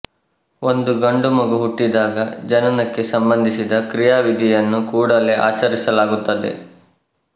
ಒಂದು ಗಂಡು ಮಗು ಹುಟ್ಟಿದಾಗ ಜನನಕ್ಕೆ ಸಂಬಂಧಿಸಿದ ಕ್ರಿಯಾವಿಧಿಯನ್ನು ಕೂಡಲೆ ಆಚರಿಸಲಾಗುತ್ತದೆ